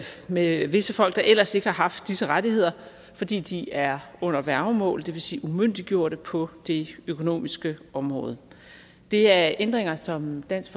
med visse folk der ellers ikke har haft disse rettigheder fordi de er under værgemål det vil sige umyndiggjorte på det økonomiske område det er ændringer som dansk